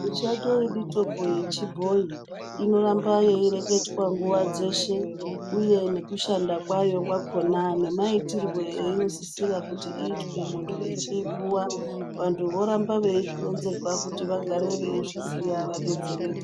Mishando ye mutombo ye chibhoyi ino ramba yei reketwa nguva dzeshe uye neku shanda kwayo kwakona ne maitirwe aino sisirwa kuti iyitwe muntu echi puwa vantu voramba vei zvironzerwa kuti vagare vei zviziya va detsereke.